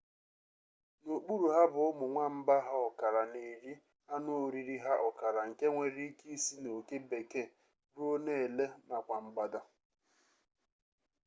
n'okpuru ha bụ ụmụ nwamba ha ọkara na-eri anụoriri ha ọkara nke nwere ike isi na oke bekee ruo na ele nakwa mgbada